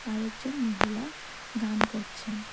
আরেকজন মহিলা গান করছেন।